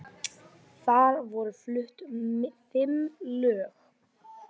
Þar voru flutt fimm lög